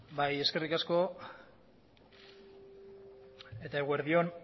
bai eskerrik asko eta eguerdi on